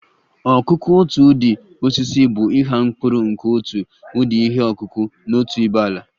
ọkụkụ otu ụdi osisi bụ ịgha mkpụrụ nke otu ụdị ihe ọkụkụ na otu ibé ala